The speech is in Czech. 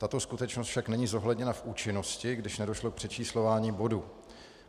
Tato skutečnost však není zohledněna v účinnosti, když nedošlo k přečíslování bodů.